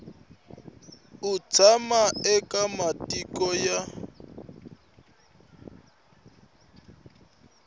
u tshama eka matiko ya